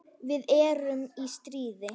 Við erum í stríði.